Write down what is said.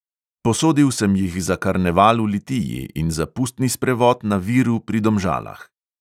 Posodil sem jih za karneval v litiji in za pustni sprevod na viru pri domžalah.